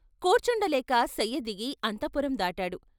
కూర్చుండలేక శయ్యదిగి అంతఃపురం దాటాడు.